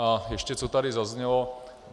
A ještě co tady zaznělo.